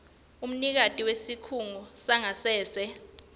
umnikati wesikhungo sangasese